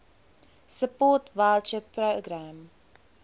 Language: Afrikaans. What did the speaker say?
support voucher programme